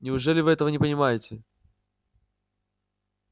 неужели вы этого не понимаете